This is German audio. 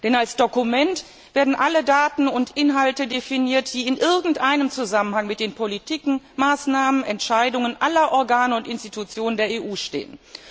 Denn als Dokument werden alle Daten und Inhalte definiert, die in irgendeinem Zusammenhang mit den Politiken, Maßnahmen, Entscheidungen aller Organe und Institutionen der EU stehen.